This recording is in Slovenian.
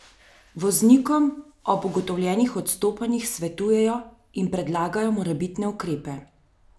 Voznikom ob ugotovljenih odstopanjih svetujejo in predlagajo morebitne ukrepe.